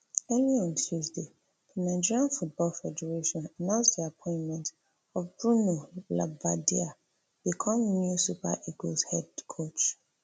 earlier on tuesday di nigeria football federation announce di appointment ofbruno labbadia become new super eagles head coach